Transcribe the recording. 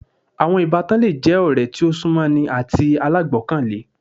Àwọn Ìbátan le je ọ̀rẹ́ tí o sún mọ́ ni àti alágbọkàlé